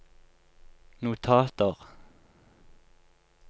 notater